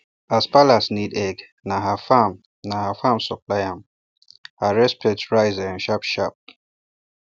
as palace need egg na her farm na her farm supply am her respect rise um sharpsharp